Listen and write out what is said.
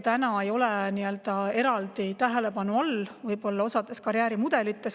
Täna ei ole see võib-olla eraldi tähelepanu all osas karjäärimudelites.